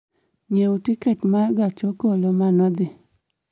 nyiew tiket ma gach okolo ma nodhi